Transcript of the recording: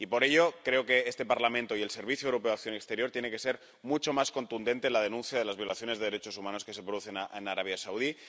Y por ello, creo que este Parlamento y el Servicio Europeo de Acción Exterior tienen que ser mucho más contundentes en la denuncia de las violaciones de derechos humanos que se producen en Arabia Saudí.